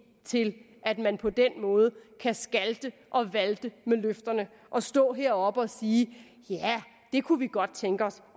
til at man på den måde kan skalte og valte med løfterne og stå heroppe og sige ja det kunne vi godt tænke os